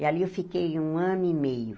E ali eu fiquei um ano e meio.